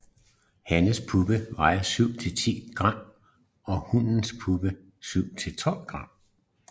Hannens puppe vejer 7 til 10 g og hunnens puppe 7 til 12 g